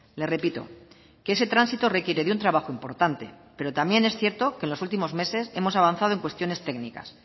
le repito que ese tránsito requiere de un trabajo importante pero también es cierto que los últimos meses hemos avanzado en cuestiones técnicas